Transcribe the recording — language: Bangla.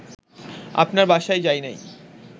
আপনার বাসায় যাই নাই